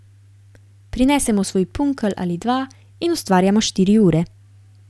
Prinesemo svoj punkelj ali dva in ustvarjamo štiri ure.